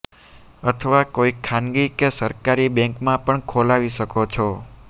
અથવા કોઈ ખાનગી કે સરકારી બેંકમાં પણ ખોલાવી શકો છો